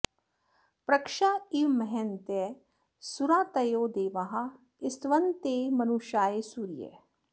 पृ॒क्षा इ॑व म॒हय॑न्तः सुरा॒तयो॑ दे॒वाः स्त॑वन्ते॒ मनु॑षाय सू॒रयः॑